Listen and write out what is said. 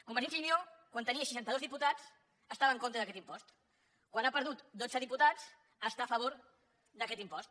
convergència i unió quan tenia seixanta dos diputats estava en contra d’aquest impost quan ha perdut dotze diputats està a favor d’aquest impost